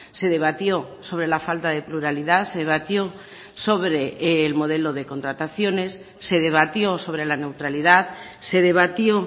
se debatió sobre la falta de pluralidad se debatió sobre el modelo de contrataciones se debatió sobre la neutralidad se debatió